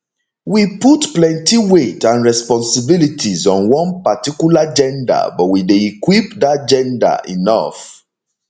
we put plenti weight and responsibilities on one particular gender but we dey equip dat gender enough